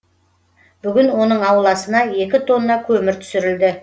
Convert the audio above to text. бүгін оның ауласына екі тонна көмір түсірілді